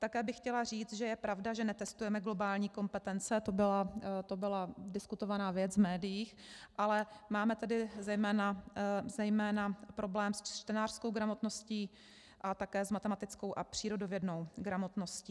Také bych chtěla říct, že je pravda, že netestujeme globální kompetence, to byla diskutovaná věc v médiích, ale máme tady zejména problém s čtenářskou gramotností a také s matematickou a přírodovědnou gramotností.